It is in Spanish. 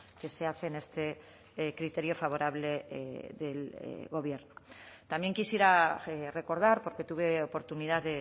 que se hace en este criterio favorable del gobierno también quisiera recordar porque tuve oportunidad